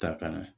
Ta kana